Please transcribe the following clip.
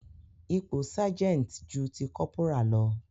Ipò sergeant ju ti kọ́pórà lọ.